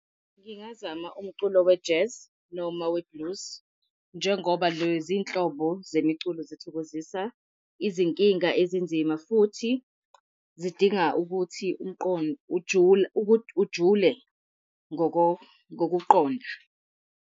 Ngingazama umculo we-jazz noma we-blues njengoba lezinhlobo zemiculo zithokozisa izinkinga ezinzima futhi zidinga ukuthi umqondo ujule ujule ngokuqonda.